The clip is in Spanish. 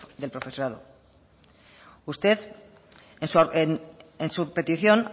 del profesorado usted en su petición